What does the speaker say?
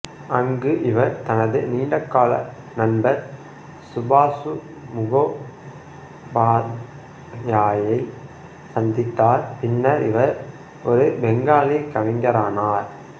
அங்கு இவர் தனது நீண்டகால நண்பர் சுபாசு முகோபாத்யாயை சந்தித்தார் பின்னர் இவர் ஒரு பெங்காலி கவிஞரானார்